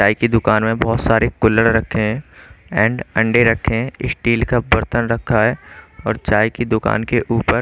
चाय की दुकान में बहोत सारे कुल्ल्हर रखे हैं एंड अंडे रखें हैं स्टील का बर्तन रखा है और चाय की दुकान के ऊपर--